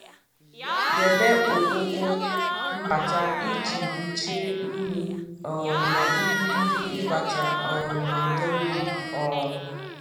Debe ọkpọkọ mbata iji gbochie unyi um na irighiri ịbata um n'ọdọ mmiri. um